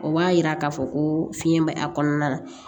O b'a yira k'a fɔ ko fiɲɛ bɛ a kɔnɔna na